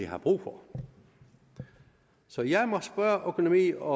har brug for så jeg må spørge økonomi og